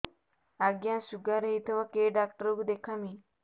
ଆଜ୍ଞା ଶୁଗାର ହେଇଥିବ କେ ଡାକ୍ତର କୁ ଦେଖାମି